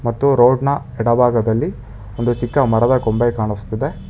ಮತ್ತು ರೋಡ್ ನ ಬಲಭಾಗದಲ್ಲಿ ಒಂದು ಚಿಕ್ಕ ಮರದ ಕೊಂಬೆ ಕಾಣಿಸುತ್ತಿದೆ.